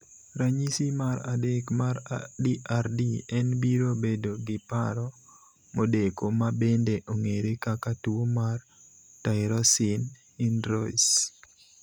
Ranyisi mar adek mar DRD en biro bedi gi paro modeko ma bende ong'ere kaka tuo mar tyrosine hydroylse.